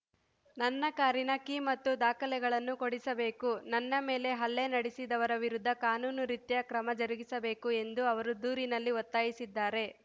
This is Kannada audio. ನನ್ನ ಕಾರಿನ ಕೀ ಮತ್ತು ದಾಖಲೆಗಳನ್ನು ಕೊಡಿಸಬೇಕು ನನ್ನ ಮೇಲೆ ಹಲ್ಲೆ ನಡೆಸಿದವರ ವಿರುದ್ಧ ಕಾನೂನು ರೀತ್ಯ ಕ್ರಮ ಜರುಗಿಸಬೇಕು ಎಂದು ಅವರು ದೂರಿನಲ್ಲಿ ಒತ್ತಾಯಿಸಿದ್ದಾರೆ